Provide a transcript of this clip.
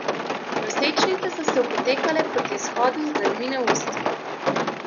Nosečnice so se opotekle proti izhodu z dlanmi na ustih.